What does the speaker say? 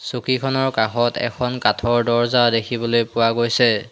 চকীখনৰ কাষত এখন কাঠৰ দৰ্জা দেখিবলে পোৱা গৈছে।